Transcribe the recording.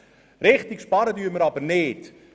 Richtig sparen tun wir aber nicht.